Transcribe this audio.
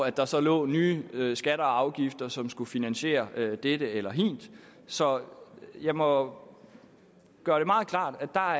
at der så lå nye skatter og afgifter som skulle finansiere dette eller hint så jeg må gøre det meget klart at